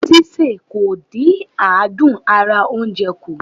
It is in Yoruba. Sísè kò dí àdún ara oúnje kù.